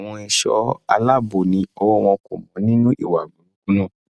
àwọn ẹṣọ aláàbò ni ọwọ wọn kò mọ nínú ìwà burúkú náà